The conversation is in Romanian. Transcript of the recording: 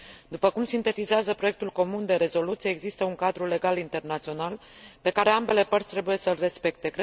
După cum sintetizează proiectul comun de rezoluție, există un cadru legal internațional pe care ambele părți trebuie să l respecte.